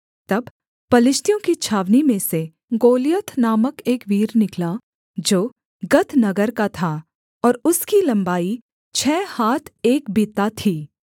तब पलिश्तियों की छावनी में से गोलियत नामक एक वीर निकला जो गत नगर का था और उसकी लम्बाई छः हाथ एक बित्ता थी